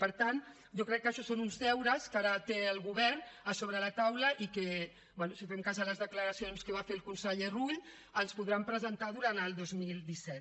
per tant jo crec que això són uns deures que ara té el govern a sobre de la taula i que bé si fem cas de les declaracions que va fer el conseller rull ens podran presentar durant el dos mil disset